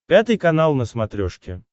пятый канал на смотрешке